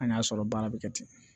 An y'a sɔrɔ baara bɛ kɛ ten